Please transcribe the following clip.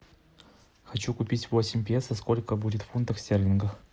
хочу купить восемь песо сколько будет в фунтах стерлингов